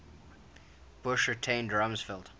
bush retained rumsfeld